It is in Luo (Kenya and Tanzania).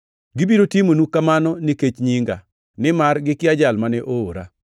Gibiro timonu kamano nikech nyinga, nimar gikia Jal mane oora.